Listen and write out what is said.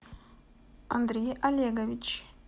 андрей олегович